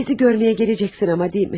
Bizi görməyə gələcəksən amma, deyilmi?